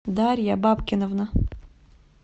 дарья бабкиновна